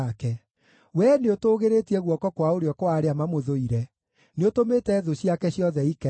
Wee nĩũtũũgĩrĩtie guoko kwa ũrĩo kwa arĩa mamũthũire; nĩũtũmĩte thũ ciake ciothe ikene.